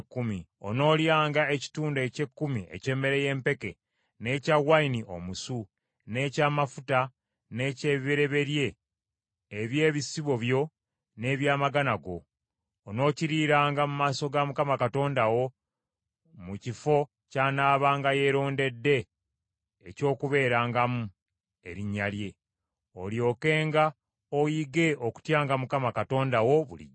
Onoolyanga ekitundu eky’ekkumi eky’emmere y’empeke, n’ekya wayini omusu, n’eky’amafuta, n’eky’ebibereberye eby’ebisibo byo n’eby’amagana go. Onookiriiranga mu maaso ga Mukama Katonda wo mu kifo ky’anaabanga yeerondedde eky’okubeerangamu Erinnya lye, olyokenga oyige okutyanga Mukama Katonda wo bulijjo.